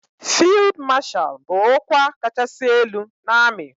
Fild mashal bu okwa kachasi elu na ami.